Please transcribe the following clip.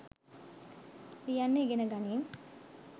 ලියන්න ඉගෙනගනින්